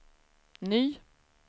ny